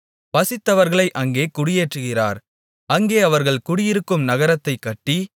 பசித்தவர்களை அங்கே குடியேற்றுகிறார் அங்கே அவர்கள் குடியிருக்கும் நகரத்தைக் கட்டி